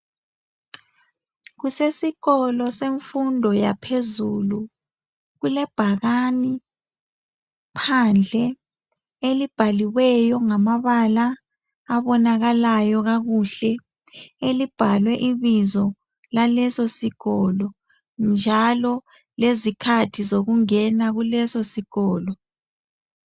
Kusesikolo semfundo yaphezulu. Kulebhakani phandle elibhaliweyo ngamabala abonakalayo kakuhle. Elibhalwe ibizo laleso sikolo njalo lezikhathi zokungena kuleso sikolo.